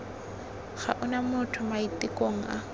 ga ona mo maitekong a